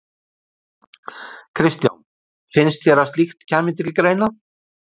Kristján: Finnst þér að slíkt kæmi til greina?